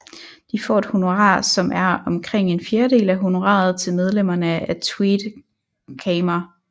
De får et honorar som er omkring en fjerdedel af honoraret til medlemmerne af Tweede Kamer